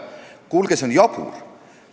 Kuulge, see on jabur!